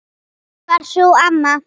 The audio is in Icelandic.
Dýptin var sú sama.